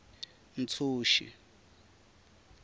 ntshuxi